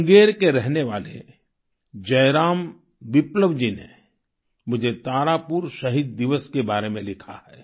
मुंगेर के रहने वाले जयराम विप्लव जी ने मुझे तारापुर शहीद दिवस के बारे में लिखा है